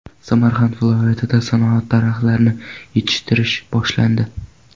Samarqand viloyatida sanoat daraxtlarini yetishtirish boshlandi.